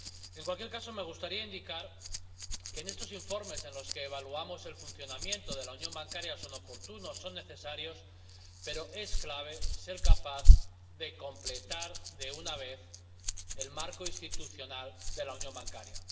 En cualquier caso, me gustaría indicar que estos informes en los que evaluamos el funcionamiento de la unión bancaria son oportunos, son necesarios, pero es clave ser capaz de completar de una vez el marco institucional de la unión bancaria.